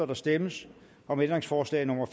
der stemmes om ændringsforslag nummer